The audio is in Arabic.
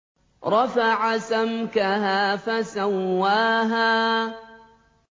رَفَعَ سَمْكَهَا فَسَوَّاهَا